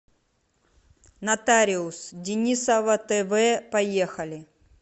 нотариус денисова тв поехали